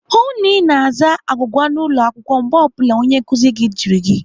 Hụụ na Ị na-aza agwụgwa n'ụlọ akwụkwọ mgbe ọ bụla onye nkụzi gị jụrụ gị!